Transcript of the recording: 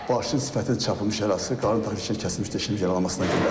Başının sifətində çapılmış yarası, qarın toxumu kəsilmişdir, içəri yaralanmasına görə.